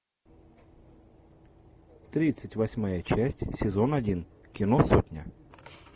тридцать восьмая часть сезон один кино сотня